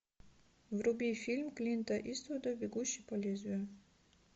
вруби фильм клинта иствуда бегущий по лезвию